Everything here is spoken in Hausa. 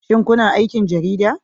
Shin kuna aikin Jarida?